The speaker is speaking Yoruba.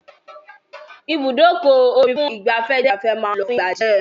Ibùdókọ̀-ojú-omi fún ìgbafẹ́ jẹ́ ibi tí ọkọ̀-ojú-omí fún ìgbafẹ́ máa ń lọ fún ìgbà díẹ̀.